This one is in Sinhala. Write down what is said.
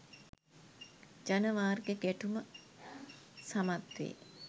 ජනවාර්ගික ගැටුම සමත් වේ